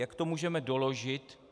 Jak to můžeme doložit?